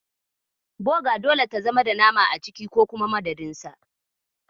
Boga dole ta zama da nama a ciki ko kuma madadin sa.